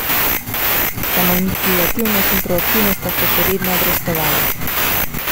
Samoiniciativnost in proaktivnost sta se še vedno obrestovali.